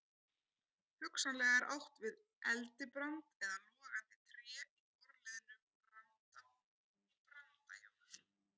Hugsanlega er átt við eldibrand eða logandi tré í forliðnum branda- í brandajól.